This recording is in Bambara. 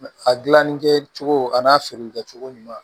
A gilanni kɛ cogo a n'a feere kɛ cogo ɲuman